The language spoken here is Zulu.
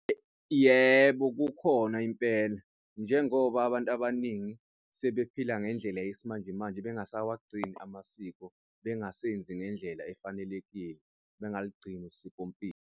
Yebo, kukhona impela. Njengoba abantu abaningi sebephila ngendlela yesimanjemanje, bengasawagcini amasiko, bengasebenzi ngendlela efanelekile. Bengalugcini usikompilo.